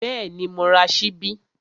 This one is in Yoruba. Bẹ́ẹ̀ni, mo ra ṣíbí